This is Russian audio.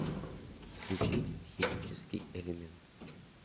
включить химический элемент